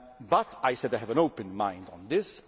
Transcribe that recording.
But, as I said, I have an open mind on this.